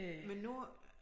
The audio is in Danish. Men nu